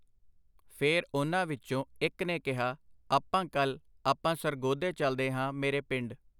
ਫੇਰ ਉਨ੍ਹਾਂ ਵਿੱਚੋਂ ਇੱਕ ਨੇ ਕਿਹਾ, ਆਪਾ, ਕੱਲ੍ਹ ਆਪਾਂ ਸਰਗੋਧੇ ਚਲਦੇ ਹਾਂ ਮੇਰੇ ਪਿੰਡ.